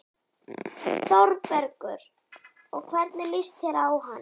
ÞÓRBERGUR: Og hvernig líst þér á hann?